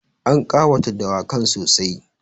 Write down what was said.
An ƙawata dawakan sossai.